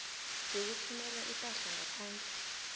yokuthumela ipahla ngaphandle